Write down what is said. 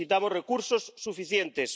Necesitamos recursos suficientes.